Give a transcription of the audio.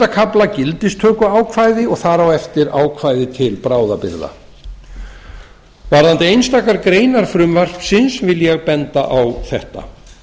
kafla gildistökuákvæði og þar á eftir ákvæði til bráðabirgða varðandi einstakar greinar frumvarpsins vil ég benda á þetta